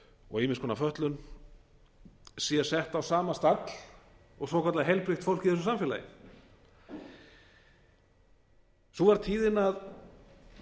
og ýmiss konar fötlun sé sett á sama stall og svokallað heilbrigt fólk í þessu samfélagi sú var tíðin að